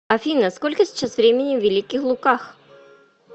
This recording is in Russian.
афина сколько сейчас времени в великих луках